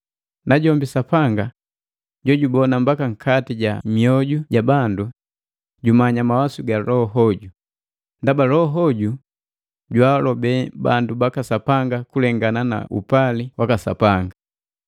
Najombi Sapanga jojubona mbaka nkati ja myoju ja bandu, jumanya mawasu ga Loho hoju, ndaba Loho hoju jwaalobe bandu baka Sapanga kulengana nu upali waka Sapanga.